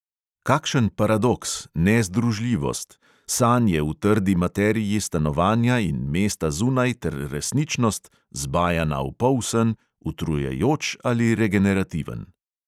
Kakšen paradoks – nezdružljivost, sanje v trdi materiji stanovanja in mesta zunaj ter resničnost, zavita v polsen, utrujajoč ali regenerativen.